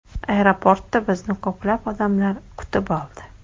Aeroportda bizni ko‘plab odamlar kutib oldi.